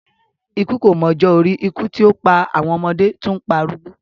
Ikú kò mọ ọjọ́ orí, ikú tí ó pa àwọn ọmọdé, tún ń pa arúgbó.